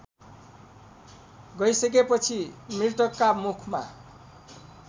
गइसकेपछि मृतकका मुखमा